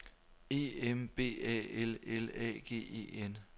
E M B A L L A G E N